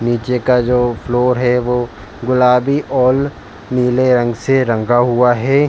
नीचे का जो फ्लोर है वो गुलाबी और नीले रंग से रंगा हुआ है।